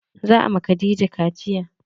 Za a ma Khadijah kaciya.